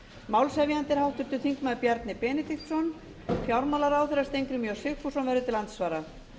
málshefjandi er háttvirtur þingmaður bjarni benediktsson fjármálaráðherra steingrímur j sigfússon verður til andsvara